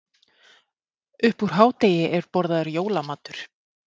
Upp úr hádegi er borðaður jólamatur.